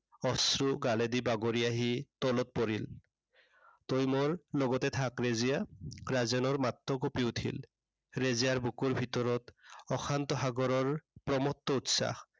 অশ্ৰু গালেদি বাগৰি আহি, তলত পৰিল। তই মোৰ লগতে থাক ৰেজিয়া। ৰাজেনৰ মাতটো কঁপি উঠিল। ৰেজিয়াৰ বুকুৰ ভিতৰত অশান্ত সাগৰৰ প্ৰমত্ত উচ্ছাস